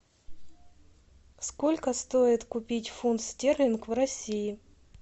сколько стоит купить фунт стерлинг в россии